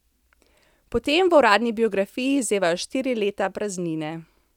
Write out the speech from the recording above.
Potem v uradni biografiji zevajo štiri leta praznine.